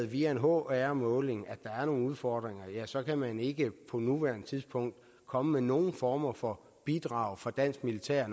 via en hr måling er der er nogle udfordringer så kan man ikke på nuværende tidspunkt komme med nogen form for bidrag fra dansk militær